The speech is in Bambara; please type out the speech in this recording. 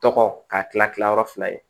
Tɔgɔ ka kila kila yɔrɔ fila ye